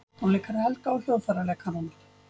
Tónleikar Helga og hljóðfæraleikaranna